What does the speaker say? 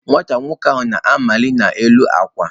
Nwata nwoke ahụ nọ na-amali n'elu akwa.